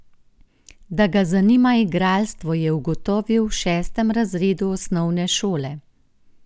Da ga zanima igralstvo, je ugotovil v šestem razredu osnovne šole.